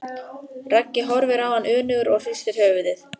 Raggi horfir á hann önugur og hristir höfuðið.